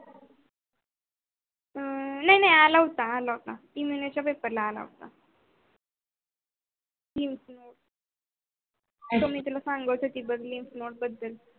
अं नाही नाही आला होता आला होता english च्या paper ला आला होता तुमी त्याला सांगोचा ती बघली